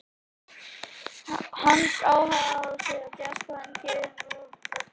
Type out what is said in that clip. Hans aðaláhugasvið er djass en hann hefur gefið út nokkrar hljómplötur.